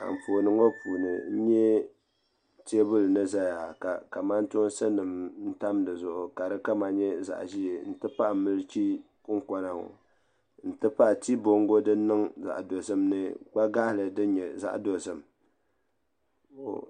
Anfooni ŋɔ puuni n nya teebuli ni zaya ka kamantoosi tam di zuɣu ka di kama nyɛ zaɣ' ʒee nti pahi milichi kɔŋkɔna ŋɔ nti pahi tii bɔŋgo din niŋ zaɣ' dozim ni kpa' gaɣili din nyɛ zaɣ' dozim.